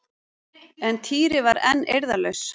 En Týri var enn eirðarlaus.